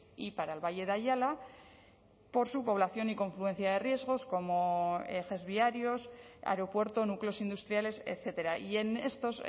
y para el valle de ayala por su población y confluencia de riesgos como ejes viarios aeropuerto núcleos industriales etcétera y en estos